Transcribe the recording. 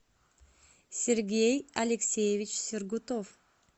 сергей алексеевич сергутов